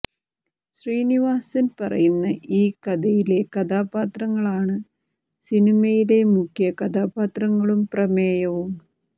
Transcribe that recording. ശ്രീനിവാസൻ പറയുന്ന ഈ കഥയിലെ കഥാപാത്രങ്ങളാണ് സിനിമയിലെ മുഖ്യ കഥാപാത്രങ്ങളും പ്രമേയവും